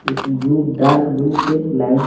कुछ blue dark blue से line --